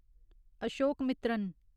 Ashokamitran